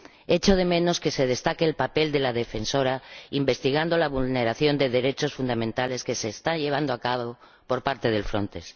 Echo de menos que se destaque el papel de la Defensora al investigar la vulneración de derechos fundamentales que se está llevando a cabo por parte de Frontex.